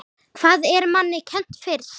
Hvað er manni kennt fyrst?